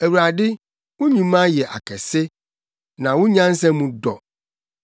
Awurade, wo nnwuma yɛ akɛse, na wo nyansa mu dɔ!